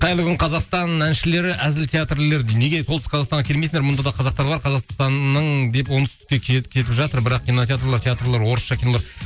қайырлы күн қазақстан әншілері әзіл театрлар неге ұлттық қазақстанға келмейсіңдер мұнда да қазақтар бар қазақстанның кетіп жатыр бірақ кинотеатрлар театрлар орысша кинолар